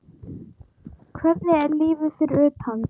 Hvernig er lífið fyrir utan?